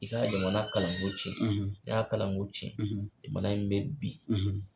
I ka jamana kalan ko tiɲɛ ? ni y'a kalan ko tiɲɛ , jamana in bɛ bin.